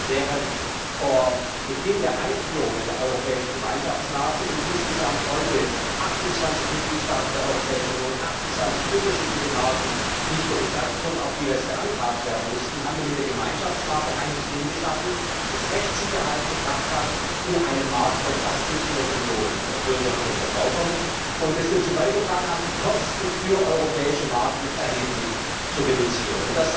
Während vor Beginn der Einführung der europäischen Gemeinschaftsmarke in insgesamt heute 28Mitgliedstaaten der Europäischen Union 28unterschiedliche Marken nicht nur bestanden, sondern auch jeweils beantragt werden mussten, haben wir mit der Gemeinschaftsmarke ein System geschaffen, das Rechtssicherheit gebracht hat in einem Markt von fast 500MillionenBürgern und Verbrauchern, und das dazu beigetragen hat, die Kosten für europäische Marken erheblich zu reduzieren.